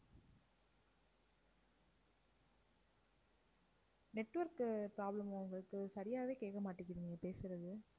network உ problem ஆ உங்களுக்குச் சரியாவே கேட்க மாட்டேங்குது நீங்கப் பேசுறது.